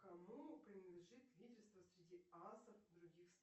кому принадлежит лидерство среди аасов других